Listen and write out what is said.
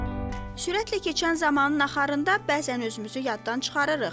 Sürətlə keçən zamanın axarında bəzən özümüzü yaddan çıxarırıq.